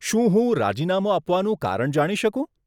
શું હું રાજીનામું આપવાનું કારણ જાણી શકું?